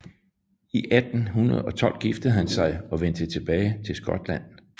I 1812 giftede han sig og vendte tilbage til Skotland